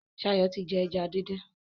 Shayo tí jé eja dín dín.